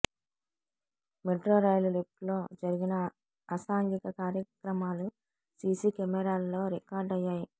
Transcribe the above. metro rail లిఫ్టులో జరిగిన అసాంఘిక కార్యక్రమాలు సీసీ కెమెరాల్లో రికార్డ్ అయ్యాయి